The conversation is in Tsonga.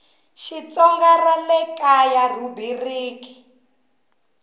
xitsonga ra le kaya rhubiriki